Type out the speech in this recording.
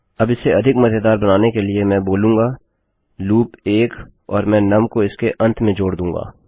अब इसे अधिक मज़ेदार बनाने के लिए मैं बोलूँगा लूप 1 और मैं नुम को इसके अंत में जोड़ दूँगा